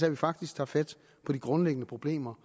at vi faktisk tager fat på de grundlæggende problemer